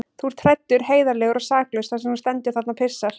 Þú ert hræddur, heiðarlegur og saklaus þar sem þú stendur þarna og pissar.